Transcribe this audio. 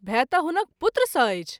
भय त’ हुनक पुत्र सँ अछि।